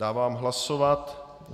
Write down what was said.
Dávám hlasovat.